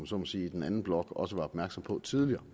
så må sige i den anden blok også var opmærksom på tidligere